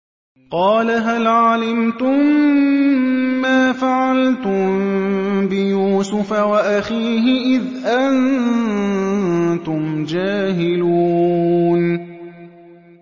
قَالَ هَلْ عَلِمْتُم مَّا فَعَلْتُم بِيُوسُفَ وَأَخِيهِ إِذْ أَنتُمْ جَاهِلُونَ